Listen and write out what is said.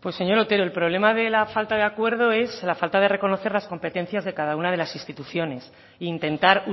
pues señor otero el problema de la falta de acuerdo es la falta de reconocer las competencias de cada una de las instituciones e intentar